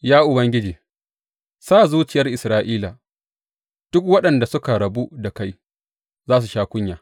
Ya Ubangiji, sa zuciyar Isra’ila, duk waɗanda suka rabu da kai za su sha kunya.